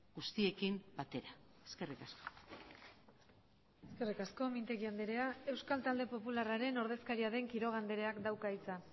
guztiekin batera eskerrik asko eskerrik asko mintegi andrea euskal talde popularraren ordezkaria den quiroga andreak dauka hitza